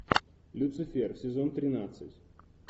люцифер сезон тринадцать